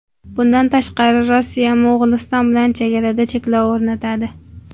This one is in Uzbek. Bundan tashqari, Rossiya Mo‘g‘uliston bilan chegarada cheklov o‘rnatadi.